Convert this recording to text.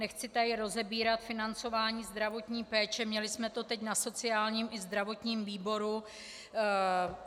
Nechci tady rozebírat financování zdravotní péče, měli jsme to teď na sociálním i zdravotním výboru.